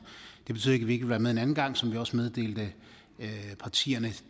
det betyder ikke at vi ikke vil være med en anden gang og som vi også meddelte partierne